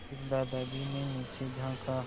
फिर दादाजी ने नीचे झाँका